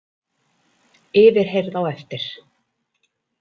Yfirheyrð á eftir